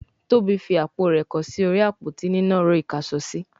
Tóbi fí àpò rẹ kọ sí orí Àpótí nínàró ìkáṣọsí